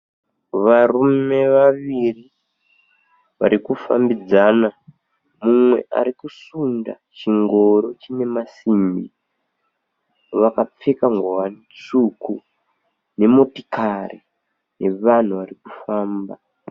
Varume vaviri varikufambidzana. Mumwe arikusunda chingoro chine masimbi. Vakapfeka ngowani tsvuku nemotikari yevanhu varikufamba.